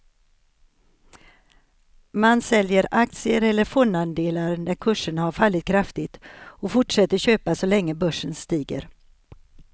Man säljer aktier eller fondandelar när kurserna har fallit kraftigt och fortsätter köpa så länge börsen stiger.